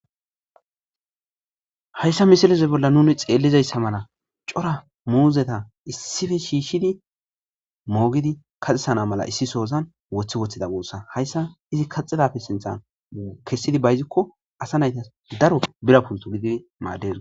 Hayssa misileze bolla nuni xeellizayssa mala cora muuzeta issipe shiishshidi moogidi kaxesana mala issi soozan woththi woththida guussa. Hayssa izi kaxidappe sinthan kessidi bayzikko asa naytas daro bira pulto gididi maadees.